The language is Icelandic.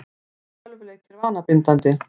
Eru tölvuleikir vanabindandi?